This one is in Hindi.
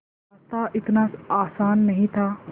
रास्ता इतना आसान नहीं था